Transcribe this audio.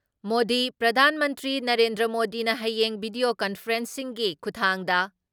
ꯃꯣꯗꯤ ꯄ꯭ꯔꯙꯥꯟ ꯃꯟꯇ꯭ꯔꯤ ꯅꯔꯦꯟꯗ꯭ꯔ ꯃꯣꯗꯤꯅ ꯍꯌꯦꯡ ꯚꯤꯗꯤꯌꯣ ꯀꯟꯐꯔꯦꯟꯁꯤꯡꯒꯤ ꯈꯨꯊꯥꯡꯗ